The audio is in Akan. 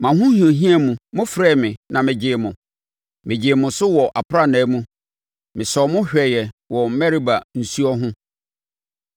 Mo ahohiahia mu, mofrɛɛ me na megyee mo, megyee mo so wɔ aprannaa mu; me sɔɔ mo hwɛeɛ wɔ Meriba nsuo ho.